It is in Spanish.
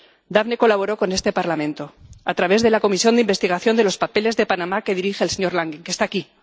Daphne colaboró con este Parlamento a través de la comisión de investigación de los papeles de Panamá que dirige el señor Langen, que está aquí.